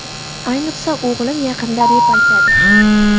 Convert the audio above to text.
Ayniqsa, o‘g‘lim yaqinda rep aytadi.